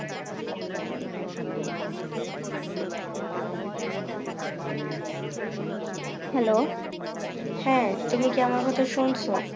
hello হ্যাঁ তুমি কি আমার কথা শুনছো